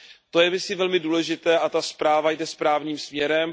To je myslím velmi důležité a ta zpráva jde správným směrem.